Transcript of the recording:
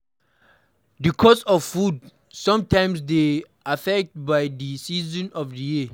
The cost of food sometimes dey de affected by di season of di year